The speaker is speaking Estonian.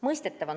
Lõpetuseks.